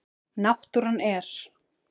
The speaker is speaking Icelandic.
Náttúran er.